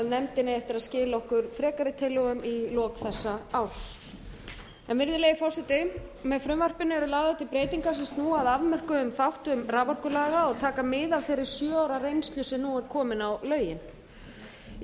eftir að skila okkur frekari tillögum í lok þessa árs virðulegi forseti með frumvarpinu eru lagðar til breytingar sem snúa að afmörkuðum þáttum raforkulaga og taka mið af þeirri sjö ára reynslu sem nú er komin á lögin í